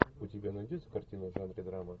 у тебя найдется картина в жанре драма